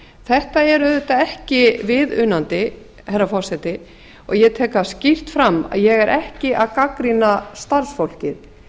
þetta er auðvitað ekki viðunandi herra forseti og ég tek það skýrt fram að ég er ekki að gagnrýna starfsfólkið